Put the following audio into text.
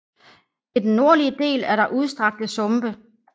I den nordlige del er der udstrakte sumpe